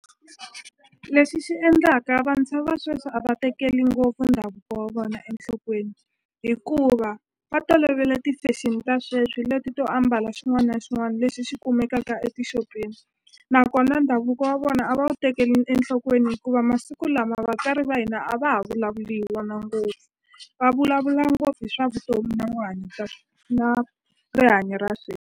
Lexi xi endlaka vantshwa va sweswi a va tekeli ngopfu ndhavuko wa vona enhlokweni hikuva va tolovele ti-fashion ta sweswi leti to ambala xin'wana na xin'wana lexi xi kumekaka etixopeni nakona ndhavuko wa vona a va wu tekeli enhlokweni hikuva masiku lama vatswari va hina a va ha vulavuli hi wona ngopfu va vulavula ngopfu hi swa vutomi na na rihanyo ra .